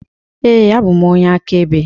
Ee, abụ m onye akaebe.